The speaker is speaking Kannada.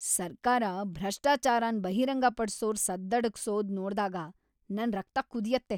ಸರ್ಕಾರ ಭ್ರಷ್ಟಾಚಾರನ್ ಬಹಿರಂಗಪಡ್ಸೋರ್‌ ಸದ್ದಡಗ್ಸೋದ್‌ ನೋಡ್ದಾಗ ನನ್ ರಕ್ತ ಕುದಿಯತ್ತೆ.